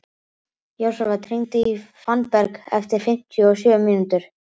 Jósafat, hringdu í Fannberg eftir fimmtíu og sjö mínútur.